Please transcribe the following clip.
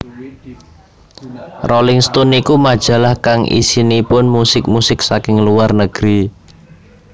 Rolling Stone niku majalah kang isinipun musik musik saking luar negeri